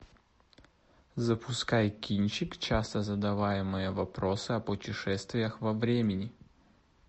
запускай кинчик часто задаваемые вопросы о путешествиях во времени